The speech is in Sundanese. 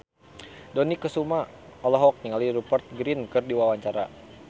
Dony Kesuma olohok ningali Rupert Grin keur diwawancara